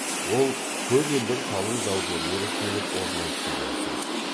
ол көп елдің қалың даугерлері келіп орнайды деген сөз